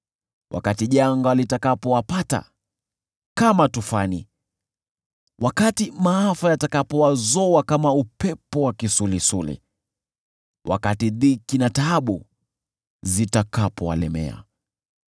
wakati janga litawapata kama tufani, wakati maafa yatawazoa kama upepo wa kisulisuli, wakati dhiki na taabu zitawalemea.